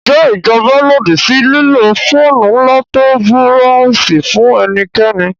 Ǹjẹ́ ìjọba lòdì sí lílo fóònù ńlá tó ń búráósì fún ẹnikẹ́ni?